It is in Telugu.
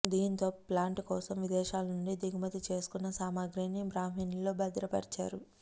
దీంతో ప్లాంటు కోసం విదేశాలనుంచి దిగుమతి చేసుకున్న సామగ్రిని బ్రహ్మిణిలో భద్రపరిచారు